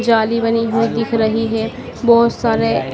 जाली बनी हुई दिख रही है बहुत सारे--